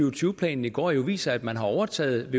og tyve planen i går jo viser at man har overtaget